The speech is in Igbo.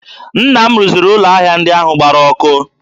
Nna m rụziri ụlọ ahịa ndị ahụ gbara ọkụ